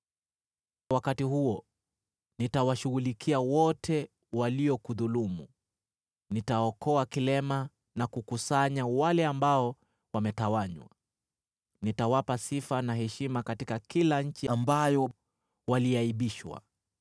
Wakati huo nitawashughulikia wote waliokudhulumu; nitaokoa vilema na kukusanya wale ambao wametawanywa. Nitawapa sifa na heshima katika kila nchi ambayo waliaibishwa.